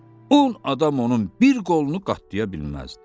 On adam onun bir qolunu qatlaya bilməzdi.